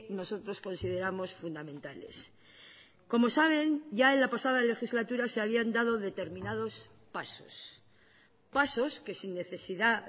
nosotros consideramos fundamentales como saben ya en la pasada legislatura se habían dado determinados pasos pasos que sin necesidad